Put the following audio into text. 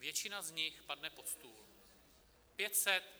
Většina z nich padne pod stůl.